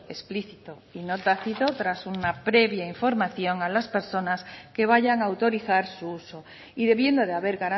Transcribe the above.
explícito y no tácito tras una previa información a las personas que vayan a autorizar su uso y debiendo de haber